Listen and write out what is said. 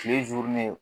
Kile